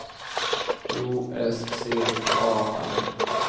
O S C A R